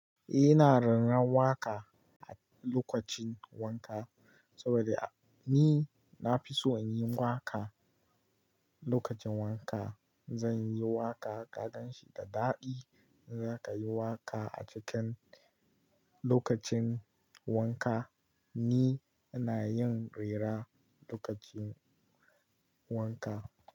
Eh, ina rera waƙa a lokacin wanka saboda ni na fi so in yi waƙa lokacin wanka. Zan yi waƙa, kagan shi da daɗi in za ka yi waƙa a cikin lokacin wanka. Ni na yin rera lokacin wanka.